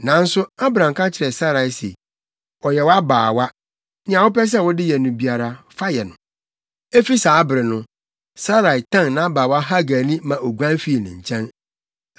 Nanso Abram ka kyerɛɛ Sarai se, “Ɔyɛ wʼabaawa. Nea wopɛ sɛ wode yɛ no biara, fa yɛ no.” Efi saa bere no, Sarai tan nʼabaawa Hagar ani ma oguan fii ne nkyɛn.